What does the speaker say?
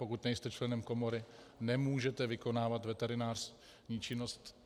Pokud nejste členem komory, nemůžete vykonávat veterinární činnost.